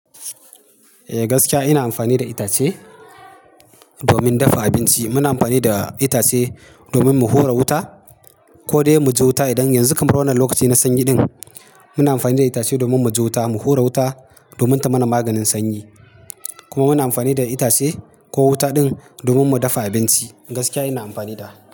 Eh gaskiya ina amfani da itace domin dafa abinci. Muna amfani da itace domin mu hura wuta ko dai mu ji wuta. Idan yanzu kamar wannan lokaci na sanyi din, muna amfani da itace domin mu ji wuta, mu hura wuta domin ta mana maganin sanyi. Kuma muna amfani da itace ko wuta din domin mu dafa abinci. Gaskiya ina amfani da.